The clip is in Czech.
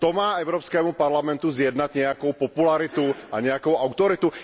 To má Evropskému parlamentu zjednat nějakou popularitu a nějakou autoritu?